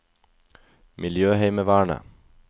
miljøheimevernet